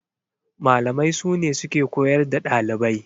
Malamai sune suke koyar da ɗalibai.